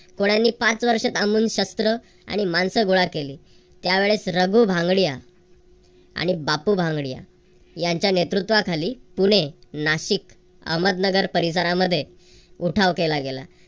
कोळ्यांनी पाच वर्षे थांबून शस्त्र आणि माणसं गोळा केली. त्यावेळेस रघु भांगडिया आणि बापू भांगडिया यांच्या नेतृत्वाखाली पुणे नाशिक अहमदनगर परिसरामध्ये उठाव केला गेला.